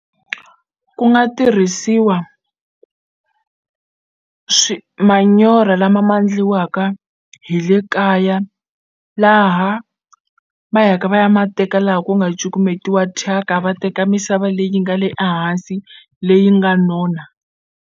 Ku nga tirhisiwa manyoro lama ma ndliwaka hi le kaya laha va yaka va ya ma teka laha ku nga cukumetiwa thyaka va teka misava leyi nga le a hansi leyi nga nona.